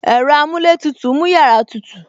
Ẹ̀rọ amuletutu mú yàrá tutù